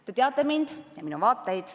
Te teate mind ja minu vaateid.